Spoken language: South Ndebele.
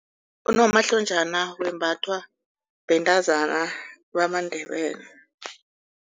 Unomahlonjana wembathwa bantazana bamaNdebele.